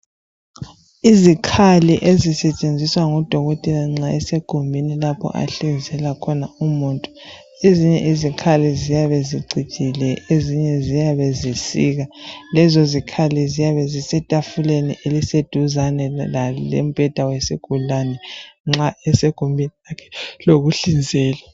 Izikhali ezisetshenziswa ngudokotela nxa esegumbini lapho anhlinzela khona umuntu ezinye izikhali ziyabe zicijile ezinye ziyabe zisika. Lezo zikhali ziyabe zisetafuleni eseduzane lembheda wesigulane nxa esegumbini lokuhlinzela.